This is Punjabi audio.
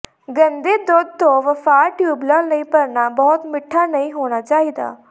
ਗੰਧਿਤ ਦੁੱਧ ਤੋਂ ਵਫਾਰ ਟਿਊਬਲਾਂ ਲਈ ਭਰਨਾ ਬਹੁਤ ਮਿੱਠਾ ਨਹੀਂ ਹੋਣਾ ਚਾਹੀਦਾ